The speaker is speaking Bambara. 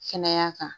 Kɛnɛya kan